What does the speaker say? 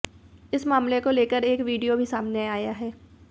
इस मामले को लेकर एक वीड़ियो भी सामने आया है